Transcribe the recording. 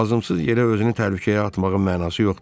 Lazımsız yerə özünü təhlükəyə atmağın mənası yoxdur.